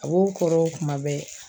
A b'o kɔrɔ kuma bɛɛ